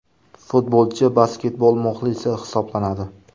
Futbolchi basketbol muxlisi hisoblanadi.